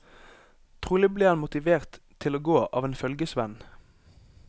Trolig ble han motivert til å gå av en følgesvenn.